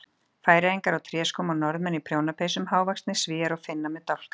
Færeyingar á tréskóm og Norðmenn í prjónapeysum, hávaxnir Svíar og Finnar með dálka.